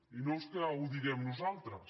i no és que ho diguem nosaltres